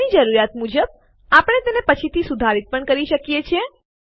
આપણી જરૂરિયાત મુજબ આપણે તેને પછીથી સુધારિત પણ કરી શકીએ છીએ